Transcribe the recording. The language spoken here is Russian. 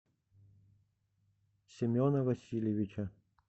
семена васильевича